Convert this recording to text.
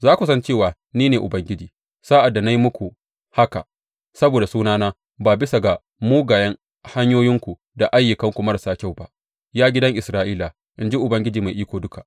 Za ku san cewa ni ne Ubangiji, sa’ad da na yi muku haka saboda sunana ba bisa ga mugayen hanyoyinku da ayyukanku marasa kyau ba, ya gidan Isra’ila, in ji Ubangiji Mai Iko Duka.’